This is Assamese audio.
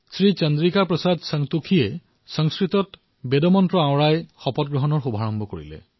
শ্ৰী চন্দ্ৰিকা প্ৰসাদ সন্তোষীয়ে শপত বেদ মন্ত্ৰেৰে আৰম্ভ কৰিছিল আৰু সংস্কৃতত পাঠ পঢ়িছিল